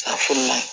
A fununen